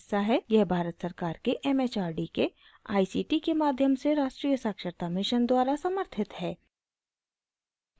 यह भारत सरकार के it it आर डी के आई सी टी के माध्यम से राष्ट्रीय साक्षरता mission द्वारा समर्थित है